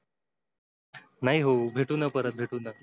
नाही हो भेटूना परत भेटू ना.